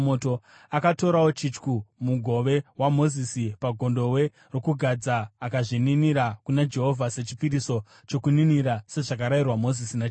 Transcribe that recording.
Akatorawo chityu, mugove waMozisi pagondobwe rokugadza, akazvininira kuna Jehovha sechipiriso chokuninira sezvakarayirwa Mozisi naJehovha.